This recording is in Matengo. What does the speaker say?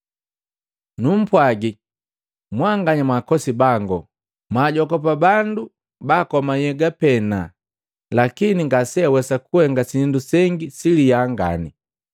“Numpwagi mmbanganya mwakosi bangu, mwaajogopa bandu baakoma nhyega pena lakini ngaseawesa kuhenga sindu sengi siliya ngani.